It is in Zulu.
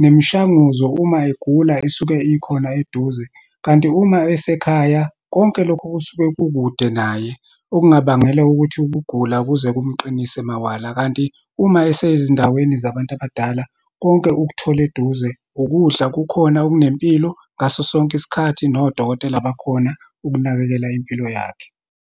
nemishanguzo uma egula, isuke ikhona eduze. Kanti uma esekhaya, konke lokho kusuke kukude naye, okungabangela ukuthi ukugula kuze kumqinise mawala. Kanti uma esezindaweni zabantu abadala, konke ukuthola eduze, ukudla kukhona okunempilo ngaso sonke isikhathi, nodokotela bakhona ukunakekela impilo yakhe.